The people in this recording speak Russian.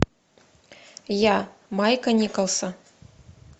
я майка николса